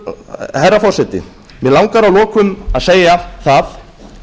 atvinnulausir herra forseti mig langar að lokum að segja það